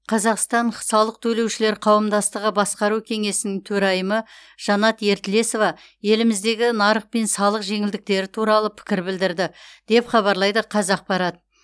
қазақстан салық төлеушілер қауымдастығы басқару кеңесінің төрайымы жанат ертілесова еліміздегі нарық пен салық жеңілдіктері туралы пікір білдірді деп хабарлайды қазақпарат